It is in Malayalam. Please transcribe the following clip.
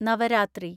നവരാത്രി